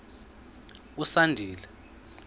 usandile